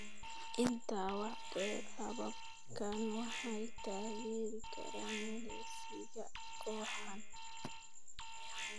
Intaa waxaa dheer, hababkani waxay taageeri karaan milicsiga kooxahan.